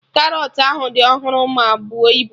Karọt ahụ dị ọhụrụ ma buo ibu